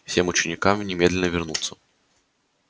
всем ученикам немедленно вернуться